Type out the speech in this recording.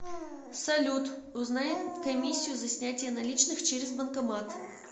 салют узнай комиссию за снятие наличных через банкомат